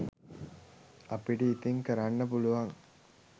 අපිට ඉතින් කරන්න පුළුවන්